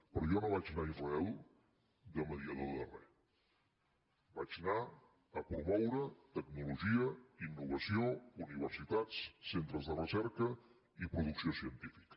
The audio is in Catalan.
però jo no vaig anar a israel de mediador de res vaig anar a promoure tecnologia innovació universitats centres de recerca i producció científica